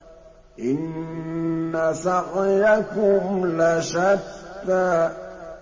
إِنَّ سَعْيَكُمْ لَشَتَّىٰ